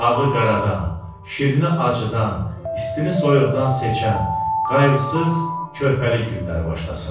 Ağı qaradan, şirini acıdan, istini soyuqdan seçən, qayğısız körpəlik günləri başlasın.